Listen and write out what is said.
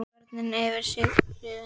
Börnin yfir sig hrifin.